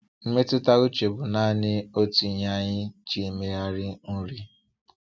Mmetụta uche bụ naanị otu ihe anyị ji emegharị nri.